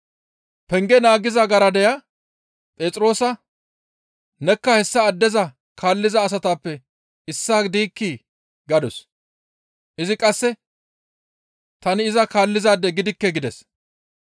Penge naagiza garadeya Phexroosa, «Nekka hessa addeza kaalliza asatappe issaa diikkii?» gadus; izi qasse, «Tani iza kaallizaade gidikke» gides.